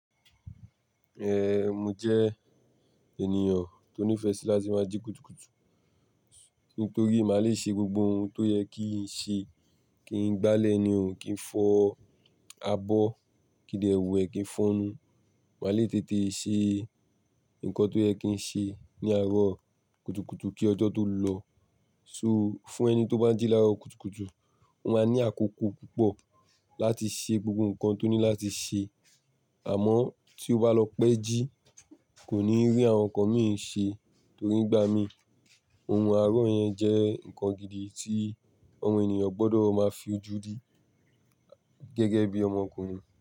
Eh, mo jẹ́ ènìyàn tó nífẹ̀ẹ́ sí láti máa jí kùtùkùtù, nítorí màá le ṣe gbogbo ohun tó yẹ kí n ṣe. Kí n gbálẹ̀ nìhàn, kí n fọ abọ́, kí n dẹ ẹwù ẹ, kí n fọ́n-un. Màá le tètè ṣe nǹkan tó yẹ kí n ṣe ní àárọ̀ kùtùkùtù kí ọjọ́ tó lọ. So fún ẹni tó bá jí láàárọ̀ kùtùkùtù, ó máa ní àkókò púpọ̀ láti ṣe gbogbo nǹkan tó ní láti ṣe. Àmọ́ tí ó bá lọ pẹ́ jí, kò ní rí àwọn nǹkan mìí ṣe torí ìgbà mí. Ohun àárọ̀ yẹn jẹ́ nǹkan gidi tí àwọn ènìyàn gbọ́dọ̀ máa fi ojú dí gẹ́gẹ́ bí ọmọkùnrin.